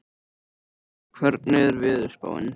Roxanna, hvernig er veðurspáin?